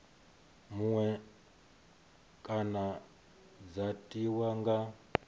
muṅwe kana dza tiwa nga